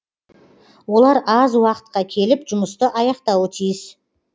олар аз уақытқа келіп жұмысты аяқтауы тиіс